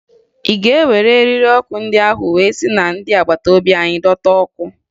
Ị ga-ewere eriri ọkụ ndị ahụ wee si na ndị agbata obi anyị dọta ọkụ?